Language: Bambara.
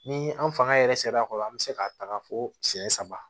Ni an fanga yɛrɛ sera a kɔrɔ an bɛ se ka taga fo siyɛn saba